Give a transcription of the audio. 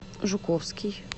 жуковский